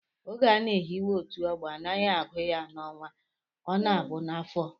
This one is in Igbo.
Oge a na-ehiwe otu ọgbọ, anaghị agụ ya n'ọnwa, ọ na-abụ n'afọ